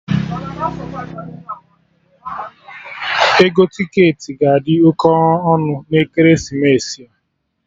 Ego ticketị ga-adi oké ọnụ na ekeresimesi a